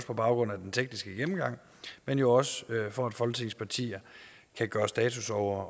på baggrund af den tekniske gennemgang men jo også for at folketingets partier kan gøre status over